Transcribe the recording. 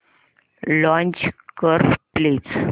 launch कर please